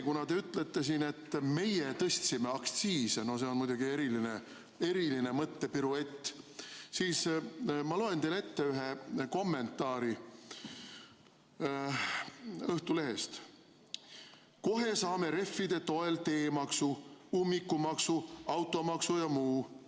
Kuna te ütlete siin, et meie tõstsime aktsiise – no see on muidugi eriline mõttepiruett –, siis ma loen teile ette ühe kommentaari Õhtulehest: "Kohe saame reffide toel teemaksu, ummikumaksu, automaksu ja muu.